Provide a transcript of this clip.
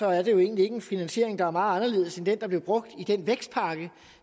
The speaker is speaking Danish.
er det jo egentlig ikke en finansiering der er meget anderledes end den der blev brugt i den vækstpakke